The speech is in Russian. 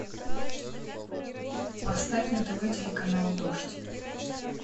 поставь на тв телеканал дождь